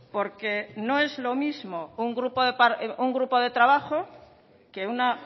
porque no es lo mismo un grupo de trabajo que una